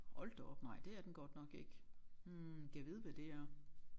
Hold da op nej det er den godt nok ikke hm gad vide hvad det er